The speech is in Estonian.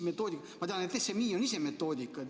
Ma tean, et SMI on ise metoodika.